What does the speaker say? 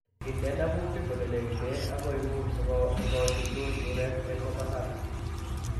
Inde namutik ole negiten ak koing'ung' sikochuchuch murek eng' komasatak